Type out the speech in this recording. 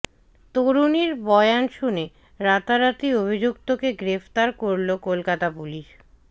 তরুণীর বয়ান শুনে রাতারাতি অভিযুক্তকে গ্রেফতার করল কলকাতা পুলিশ